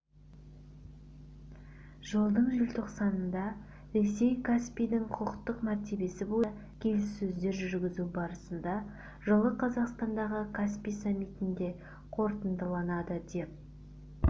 жылдың желтоқсанында ресей каспийдің құқықтық мәртебесі бойынша келіссөздер жүргізу барысында жылы қазақстандағы каспий саммитінде қорытындыланады деп